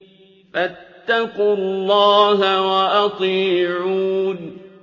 فَاتَّقُوا اللَّهَ وَأَطِيعُونِ